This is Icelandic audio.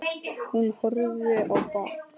Hann horfir á bak